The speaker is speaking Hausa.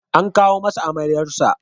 An kawo masa amaryarsa.